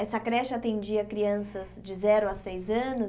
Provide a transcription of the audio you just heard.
Essa creche atendia crianças de zero a seis anos?